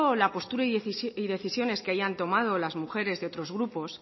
la postura y decisiones que hayan tomado las mujeres de otros grupos